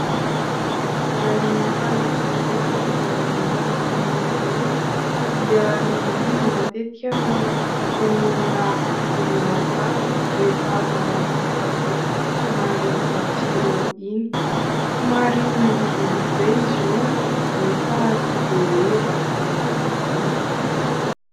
Raha ny fahita eo anivon'ny fanaon'ny olona dia ny angivy matetika no ataon'ny olona ro matsatso rehefa manao sakafo somary matsiro iny. Somary mangidy mangidy izay izy io nefa tsy dia hoe ratsy manaona akory.